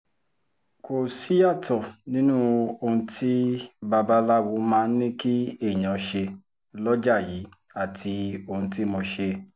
kò síyàtọ̀ nínú ohun tí babaláwo máa ń ní kí èèyàn ṣe lọ́jà yìí àti ohun tí mo ṣe